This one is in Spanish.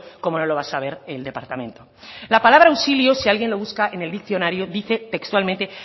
cómo no lo va a saber el departamento la palabra auxilio si alguien lo busca en el diccionario dice textualmente